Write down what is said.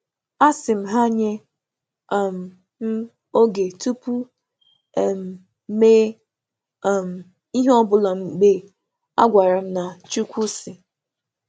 M rịọ̀rò oge tupu m mee ihe n’ozi a sị na “Chukwu sị.”